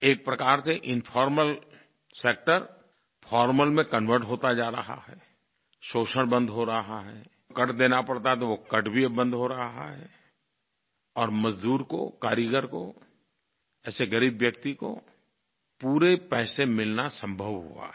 एक प्रकार से इन्फॉर्मल सेक्टर फॉर्मल कन्वर्ट होता जा रहा है शोषण बंद हो रहा है कट देना पड़ता था वो कट भी अब बंद हो रहा है और मज़दूर को कारीगर को ऐसे ग़रीब व्यक्ति को पूरे पैसे मिलना संभव हुआ है